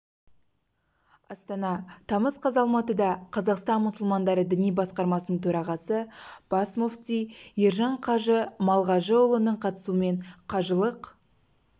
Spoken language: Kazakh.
астана тамыз қаз алматыда қазақстан мұсылмандары діни басқармасының төрағасы бас мүфти ержан қажы малғажыұлының қатысуымен қажылық